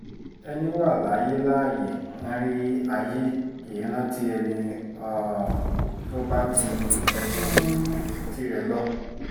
ẹní wa láyé láààyè ń rí ayé kì í rántí ẹni um tó bá ti bá um tirẹ̀ lọ